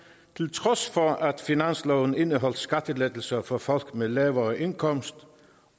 trods for at finansloven indeholdt skattelettelser for folk med lavere indkomst